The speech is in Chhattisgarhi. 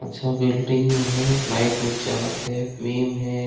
अच्छा बिल्डिंग में हे लाइट उठ जलत हे फ्लिम हे।